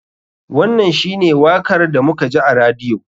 Wannan shi ne wakar da muka ji a radiyo.